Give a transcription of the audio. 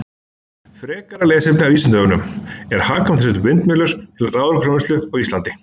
Frekara lesefni af Vísindavefnum: Er hagkvæmt að setja upp vindmyllur til raforkuframleiðslu á Íslandi?